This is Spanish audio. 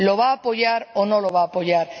¿La va a apoyar o no la va a apoyar?